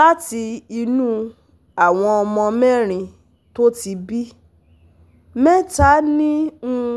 Láti inú àwọn ọmọ mérin tó ti bí, mẹ́ta ní um